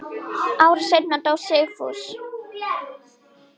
Ári seinna dó Sigfús.